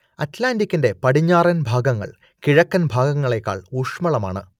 അറ്റ്‌ലാന്റിക്കിന്റെ പടിഞ്ഞാറൻ ഭാഗങ്ങൾ കിഴക്കൻ ഭാഗങ്ങളേക്കാൾ ഊഷ്മളമാണ്